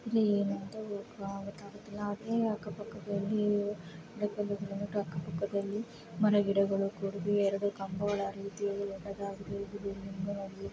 ಇದು ಏನಂತಾ ಹೇಳಕಾಗಲ್ಲ ಆದರೆ ಅಕ್ಕಪಕ್ಕದಲ್ಲಿ ಬೆಟ್ಟಗುಡ್ಡಗಳಿವೆ. ಅಕ್ಕಪಕ್ಕದಲ್ಲಿ ಮರಗಿಡಗಳು ಕೂಡಿವೆ ಎರಡು ಕಂಬಗಳು ದೊಡ್ಡದಾಗಿದೆ ಇದು ವಿಭಿನ್ನವಾಗಿದೆ ಇದು ತುಂಬಾ ಚೆನ್ನಾಗಿದೆ.